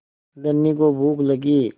धनी को भूख लगी